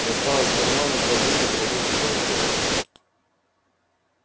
достал из кармана два сдутых воздушных шарика